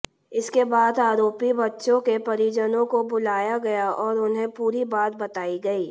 इसके बाद आरोपी बच्चों के परिजनों को बुलाया गया और उन्हें पूरी बात बताई गई